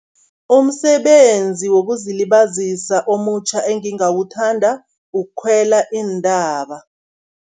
Umsebenzi wokuzilibazisa omutjha engingawuthanda ukukhwela iintaba.